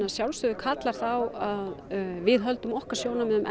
að sjálfsögðu kallar það á við höldum okkar sjónarmiðum